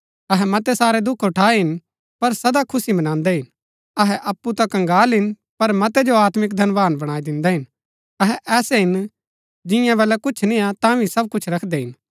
अहै मतै सारै दुख उठायै हिन पर सदा खुशी मंनादै हिन अहै अप्पु ता कंगाल हिन पर मतै जो आत्मिक धनवान बणाई दिन्दै हिन अहै ऐसै हिन जियां बलै कुछ निय्आ तांभी सब कुछ रखदै हिन